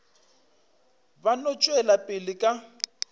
ba no tšwela pele ka